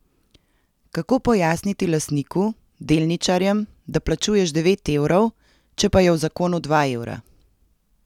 Kako pojasniti lastniku, delničarjem, da plačuješ devet evrov, če pa je v zakonu dva evra?